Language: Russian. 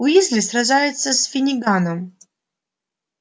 уизли сражается с финниганом